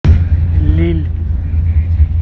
лилль